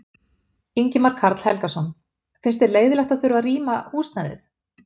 Ingimar Karl Helgason: Finnst þér leiðinlegt að þurfa að rýma húsnæðið?